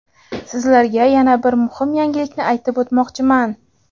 sizlarga yana bir muhim yangilikni aytib o‘tmoqchiman.